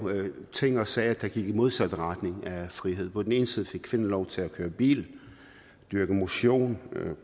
ting og sager der gik i modsat retning af frihed på den ene side fik kvinderne lov til at køre bil dyrke motion